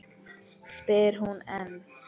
spyr hún enn.